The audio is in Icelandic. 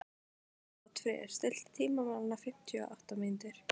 Oddfríður, stilltu tímamælinn á fimmtíu og átta mínútur.